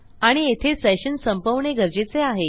आणि येथे सेशन संपवणे गरजेचे आहे